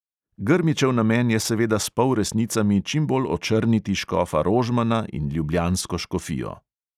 Grmičev namen je seveda s polresnicami čim bolj očrniti škofa rožmana in ljubljansko škofijo.